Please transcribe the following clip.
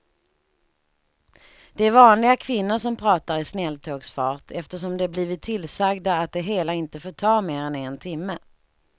Det är vanliga kvinnor som pratar i snälltågsfart eftersom de blivit tillsagda att det hela inte får ta mer än en timme.